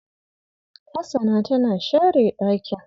Hasana tana share ɗakin.